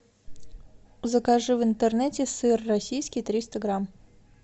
закажи в интернете сыр российский триста грамм